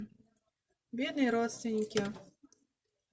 бедные родственники